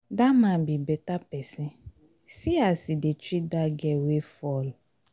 dat man be beta person see as he dey treat dat girl wey fall